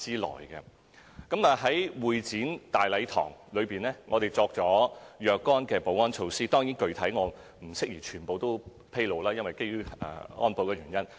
我們亦在會展大禮堂設置若干保安措施，當然，基於保安原因，我不宜全面披露具體情況。